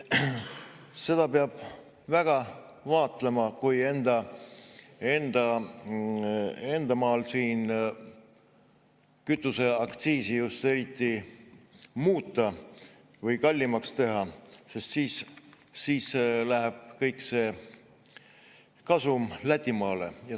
Seda peab väga vaatlema, kui enda maal siin kütuseaktsiisi muuta või kallimaks teha, sest siis läheb kõik see kasum Lätimaale.